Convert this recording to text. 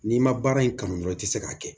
N'i ma baara in kanu dɔrɔn i ti se k'a kɛ